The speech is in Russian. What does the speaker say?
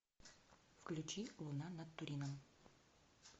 включи луна над турином